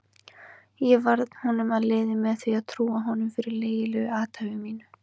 Ég varð honum að liði með því að trúa honum fyrir lygilegu athæfi mínu.